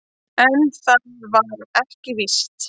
En það var ekki víst.